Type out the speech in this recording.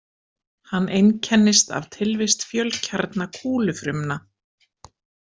Hann einkennist af tilvist fjölkjarna kúlufrumna.